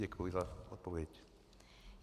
Děkuji za odpověď.